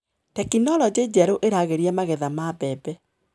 Tekinologĩ njerũ ĩragĩria magetha ma mbembe.